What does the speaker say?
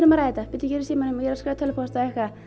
bíddu ég er í símanum og ég er að skrifa tölvupóst